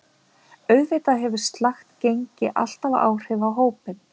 Auðvitað hefur slakt gengi alltaf áhrif á hópinn.